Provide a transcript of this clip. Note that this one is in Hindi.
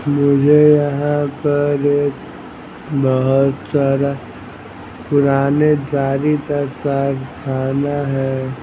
मुझे यहां पर एक बहुत सारा पुराने जारीता साथ खाना है।